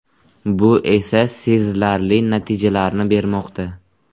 Bu esa sezilarli natijalarni bermoqda.